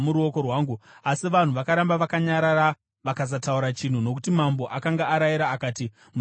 Asi vanhu vakaramba vakanyarara vakasataura chinhu, nokuti mambo akanga arayira akati, “Musamupindura.”